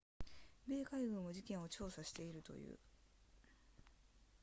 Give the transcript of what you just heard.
米海軍も事件を調査しているという